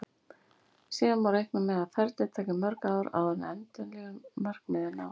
Síðan má reikna með að ferlið taki mörg ár áður en endanlegu markmiði er náð.